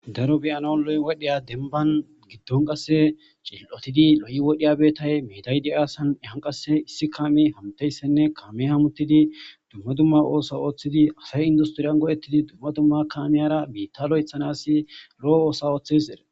daro beyano loy wodheya demban giddon qasse shil7otidi lo7i wodhiyabetay miidaydi aasan ehan qasse issi kaami hamteyssenne kaame hamutidi dumma dumma oosa ooththidi asay industiriyan godhettidi dumma dumma kamiyara biitta lo7ethanas lo7o oosa ooththes er